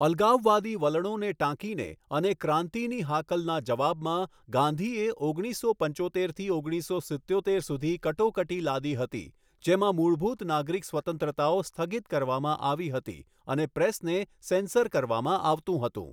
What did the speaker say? અલગાવવાદી વલણોને ટાંકીને, અને ક્રાંતિની હાકલના જવાબમાં, ગાંધીએ ઓગણીસસો પંચોતેરથી ઓગણીસો સિત્યોતેર સુધી કટોકટી લાદી હતી, જ્યાં મૂળભૂત નાગરિક સ્વતંત્રતાઓ સ્થગિત કરવામાં આવી હતી અને પ્રેસને સેન્સર કરવામાં આવતું હતું.